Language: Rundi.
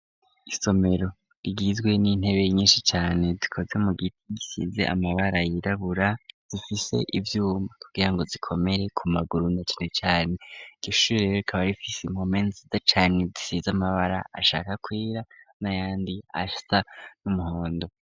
Isomero rigizwe n'intebe nyinshi cane zikoze mu giti gisize amabara yirabura zifise ivyuma kugirango zikomere ku maguru na cane cane iryo shure rero rikaba rifise impome nziza cane zisize amabara ashaka kwera nayandi asa n'umuhondo.